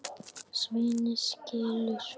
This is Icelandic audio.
Svenni skilur.